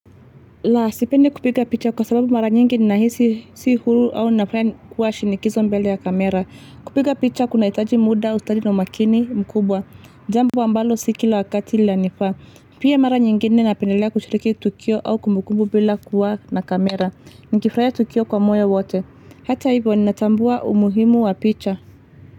Laa, sipendi kupiga picha kwa sababu mara nyingi ninahisi si huru au nafaya kuwa shinikizo mbele ya kamera. Kupiga picha kunahitaji muda, ustadi na umakini mkubwa. Jambo ambalo si kila wakati lanifaa. Pia mara nyingine napendelea kushiriki tukio au kumbukumbu bila kuwa na kamera. Nikifurahia tukio kwa moyo wote. Hata hivyo ninatambua umuhimu wa picha.